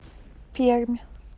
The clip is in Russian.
пермь